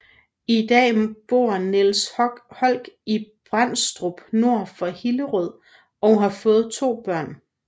I dag bor Niels Holck i Bendstrup nord for Hillerød og har fået to børn